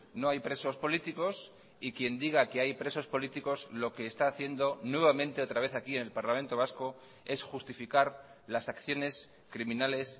no hay presos políticos y quien diga que hay presos políticos lo que está haciendo nuevamente otra vez aquí en el parlamento vasco es justificar las acciones criminales